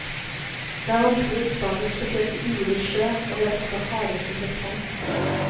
De er vanskelige å oppdage, spesielt i urolig sjø, og de er ofte harde som betong.